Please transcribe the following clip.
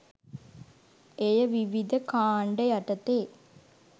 එය විවිධ කාණ්ඩ යටතේ